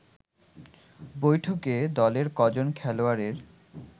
বৈঠকে দলের কজন খেলোয়াড়ের